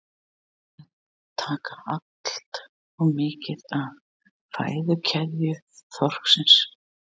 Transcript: Erum við að taka allt of mikið af fæðukeðju þorsksins?